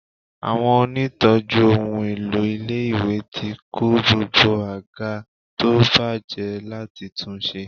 Àwọn onítọ̀ọ́jú ohun èlò ilé-ìwé ti kó gbogbo àga tó ti bàjẹ́ láti tunṣe.